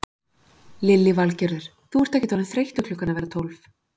Lillý Valgerður: Þú ert ekkert orðinn þreyttur klukkan að verða um tólf?